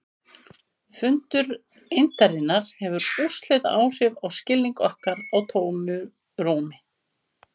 Fundur eindarinnar hefur úrslitaáhrif á skilning okkar á tómu rúmi.